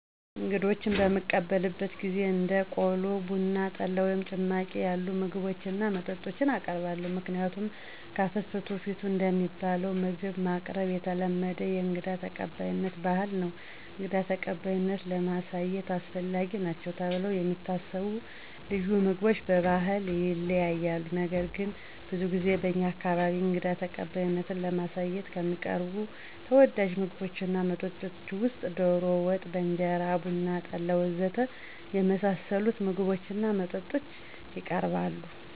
እንግዶችን በምንቀበልበት ጊዜ እንደ ቆሎ፣ ቡና፣ ጠላ ወይም ጭማቂ ያሉ ምግቦችን እና መጠጦችን እናቀርባለን። ምክንያቱም ከፍትፍቱ ፊቱ እንደሚባለው ምግብ ማቅረብ የተለመደ የእንግዳ ተቀባይነት ባህል ነው። እንግዳ ተቀባይነትን ለማሳየት አስፈላጊ ናቸው ተብለው የሚታሰቡ ልዩ ምግቦች በባህል ይለያያሉ። ነገር ግን ብዙ ጊዜ በእኛ አካባቢ እንግዳ ተቀባይነትን ለማሳየት ከሚቀርቡ ተወዳጅ ምግቦች እና መጠጦች ውስጥ ዶሮ ወጥ በእንጀራ፣ ቡና፣ ጠላ ወ.ዘ.ተ. የመሳሰሉት ምግቦች እና መጠጦች የቀርባሉ።